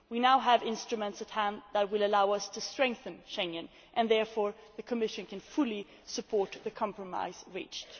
We now have instruments at hand which will allow us to strengthen Schengen, and therefore the Commission can fully support the compromise reached.